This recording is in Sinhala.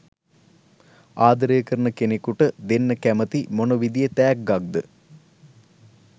ආදරේ කරන කෙනෙකුට දෙන්න කැමති මොන විදියේ තෑග්ගක්ද?